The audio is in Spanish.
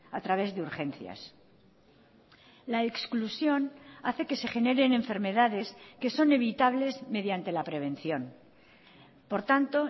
a través de urgencias la exclusión hace que se generen enfermedades que son evitables mediante la prevención por tanto